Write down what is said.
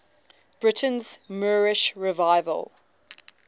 britain's moorish revival